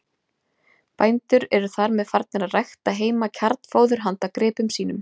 Bændur eru þar með farnir að rækta heima kjarnfóður handa gripum sínum.